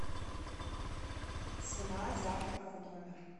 цена завтрака в номер